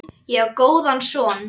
Ég á góðan son.